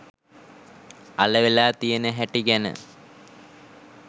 අලවෙලා තියෙන හැටි ගැන.